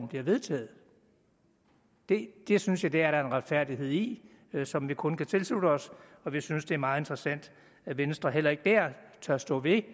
bliver vedtaget det det synes jeg der er en retfærdighed i som vi kun kan tilslutte os og vi synes det er meget interessant at venstre heller ikke der tør stå ved